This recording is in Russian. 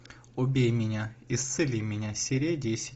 убей меня исцели меня серия десять